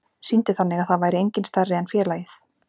Sýndi þannig að það væri enginn stærri en félagið.